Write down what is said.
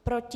Proti?